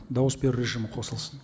дауыс беру режимі қосылсын